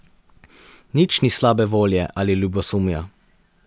Nič ni slabe volje ali ljubosumja.